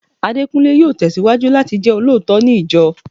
Adekunle yóò tesiwaju láti jẹ olóòótọ́ ní ìjọ